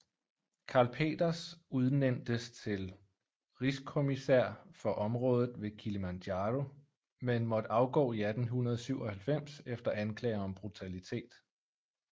Karl Peters udnæntes til rigskommissær for området ved Kilimanjaro men måtte afgå i 1897 efter anklager om brutalitet